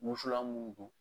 Wusulan mun do